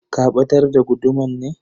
Ka batar da guduman ne?